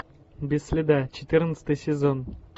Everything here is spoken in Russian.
без следа четырнадцатый сезон